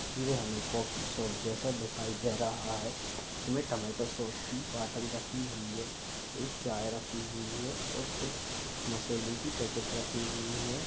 ये हमें coffee shop जैसा दिखाई दे रहा है इसमें टमैटो सॉस की बॉटल रखी हुई है एक चाय रखी हुई है और कुछ मसाले की पैकेट रखी हुई हैं।